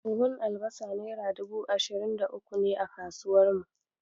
Buhun albasa naira dubu ashirin da uku ne a kasuwar mu.